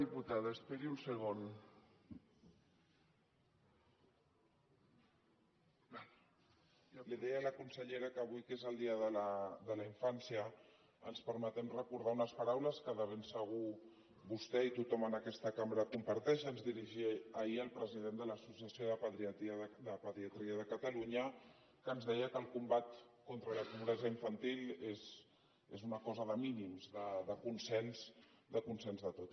li deia a la consellera que avui que és el dia de la infància ens permetem recordar unes paraules que de ben segur vostè i tothom en aquesta cambra comparteixen que ens dirigia ahir el president de l’associació de pediatria de catalunya que ens deia que el combat contra la pobresa infantil és una cosa de mínims de consens de tot